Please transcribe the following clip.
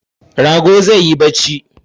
Rago zai yi barci